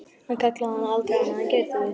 Hann kallaði hana aldrei annað en Geirþrúði.